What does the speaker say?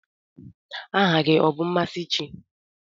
Aha gi ọ bụ Mmasinachi?